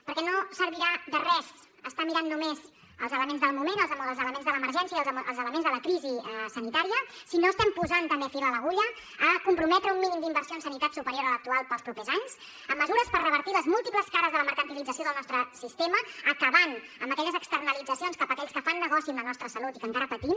perquè no servirà de res estar mirant només els elements del moment els elements de l’emergència i els elements de la crisi sanitària si no estem posant també fil a l’agulla a comprometre un mínim d’inversió en sanitat superior a l’actual per als propers anys amb mesures per revertir les múltiples cares de la mercantilització del nostre sistema acabant amb aquelles externalitzacions cap a aquells que fan negoci amb la nostra salut i que encara patim